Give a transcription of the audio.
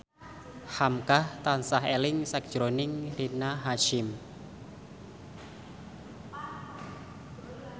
hamka tansah eling sakjroning Rina Hasyim